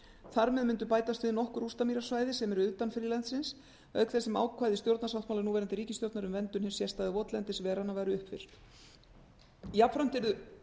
þar með myndu bætast við nokkur rústamýrasvæði sem eru utan friðlandsins auk þess sem ákvæði stjórnarsáttmála núverandi ríkisstjórnar um verndun hins sérstæða votlendis veranna væru uppfyllt jafnframt yrðu